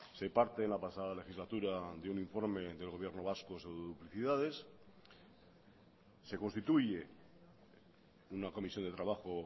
se parte en la pasada legislatura de un informe del gobierno vasco sobre duplicidades se constituye una comisión de trabajo